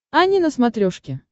ани на смотрешке